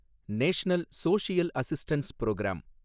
national social assistance program